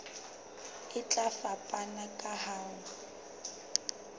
e tla fapana ka ho